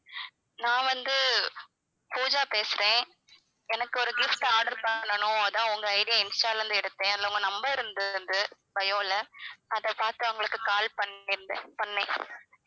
நான் வந்து பூஜா பேசுறேன் எனக்கு ஒரு gift order பண்ணனும் அதுதான் உங்க ID ய insta ல இருந்து எடுத்தேன் அதுல உங்க number இருந்தது bio ல அதை பார்த்து உங்களுக்கு call பண்ணி இருந்தேன் பண்ணேன்